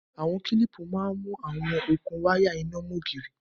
Awọn kílípú mà n mú awọn okun wàya iná mọn ogírí.